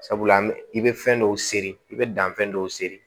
Sabula an bɛ i bɛ fɛn dɔw seri i bɛ danfɛn dɔw seri